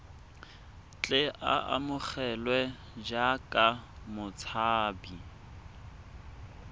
tle a amogelwe jaaka motshabi